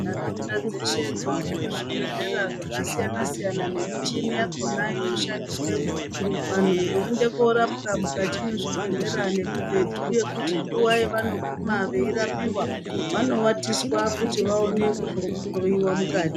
Nharaunda dzeshe dzoone kuzvibhehlera zvakasiyana -siyana nemichini yakhona inoshandiswemo vanhu voende kurapwa mukati mwezvibhehlera nemibhedhu yekuti nguva yanoguma veirapiwa vanovatiswa kuti vaone kuhloyiwa mukati.